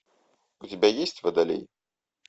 у тебя есть водолей